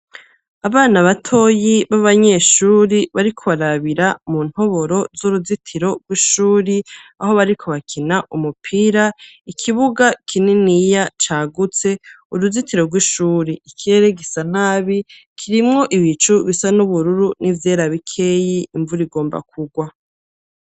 Abana batoyi, b'abanyeshuri, bariko barabira mu ntoboro z'uruzitiro rw'ishuri, aho bariko bakina umupira, ikibuga kininiya cagutse, uruzitiro rw'ishuri, ikirere gisa nabi, kirimwo ibicu bisa n'ubururu n'ivyera bikeyi, imvura igomba kugwa.